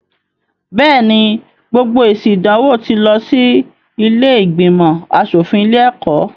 Bẹ́ẹ̀ ni, gbogbo èsì ìdánwò tí lọ sí ilé ìgbìnmọ̀ aṣọ̀fin ilé-ẹ̀kọ́.